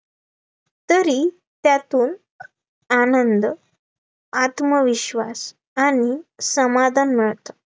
तरी त्यातून आनंद, आत्मविश्वास आणि समाधान मिळतं